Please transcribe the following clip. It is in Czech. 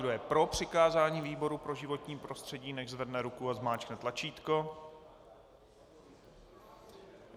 Kdo je pro přikázání výboru pro životní prostředí, nechť zvedne ruku a zmáčkne tlačítko.